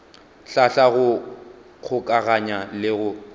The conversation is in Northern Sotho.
hlahla go kgokaganya le go